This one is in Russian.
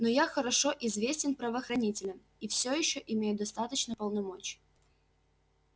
но я хорошо известен правоохранителям и всё ещё имею достаточно полномочий